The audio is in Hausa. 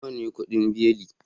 Nawa kudin beli?